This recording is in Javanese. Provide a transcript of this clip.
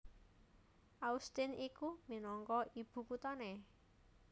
Austin iku minangka ibukuthané